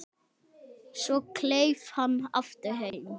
Svo kleif hann aftur heim.